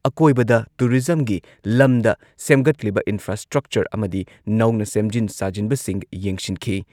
ꯑꯀꯣꯢꯕꯗ ꯇꯨꯔꯤꯖꯝꯒꯤ ꯂꯝꯗ ꯁꯦꯝꯒꯠꯂꯤꯕ ꯏꯟꯐ꯭ꯔꯥꯁ꯭ꯇ꯭ꯔꯛꯆꯔ ꯑꯃꯗꯤ ꯅꯧꯅ ꯁꯦꯝꯖꯤꯟ ꯁꯥꯖꯤꯟꯕꯁꯤꯡ ꯌꯦꯡꯁꯤꯟꯈꯤ꯫